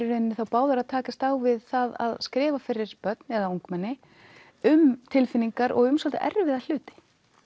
í rauninni þá báðar að takast á við það að skrifa fyrir börn eða ungmenni um tilfinningar og um svolítið erfiða hluti